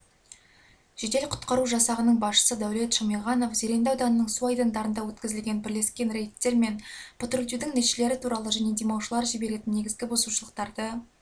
жедел-құтқару жасағының басшысы дәулет шамиғанов зеренді ауданының су айдындарында өткізілген бірлескен рейдтер мен патрульдеудің нәтижелері туралы және демалушылар жіберетін негізгі бұзушылықтары